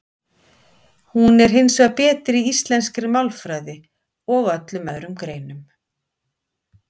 Hún er hins vegar betri í íslenskri málfræði og öllum öðrum greinum.